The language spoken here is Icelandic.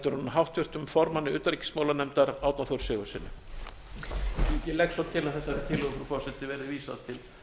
en háttvirtum formanni utanríkismálanefndar árna þór sigurðssyni ég legg svo til að þessari tillögu frú forseti verði vísað til